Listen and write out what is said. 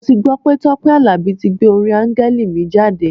Mo ti gbọ́ pé Tọ́pẹ́ Àlàbí tí gbé orin Áńgẹ́lì mi jáde.